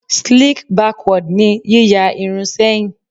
Sleek backward ni yíya irun sẹ́yìn.